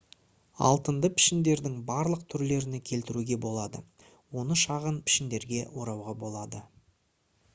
алтынды пішіндердің барлық түрлеріне келтіруге болады оны шағын пішіндерге орауға болады